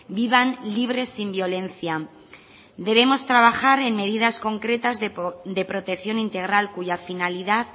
vivan libres sin violencia debemos trabajar en medidas concretas de protección integral cuya finalidad